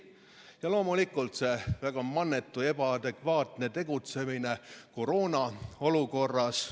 Ja loomulikult nende väga mannetu, ebaadekvaatne tegutsemine koroonaolukorras.